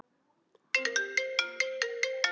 og það dimmdi aftur þegar hún fór.